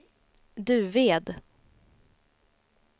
Duved